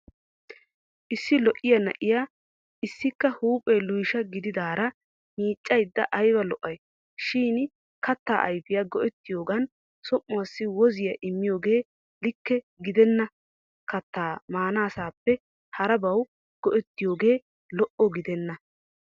Issi lo'iya na'iya issikka huuphee luysha gididaara miiccayidda ayba lo'ay. Shin kattaa ayfiya go'ettiyogan som'uwaassi woziya immiyoogee likke gidenna kattaa maanaassape harabawu go'ettiyooge lo'o gidenna.